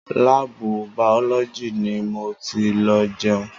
Láàbù bàọ́lójì ni mo ti lọ jẹun.